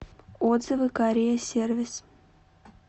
отзывы корея сервис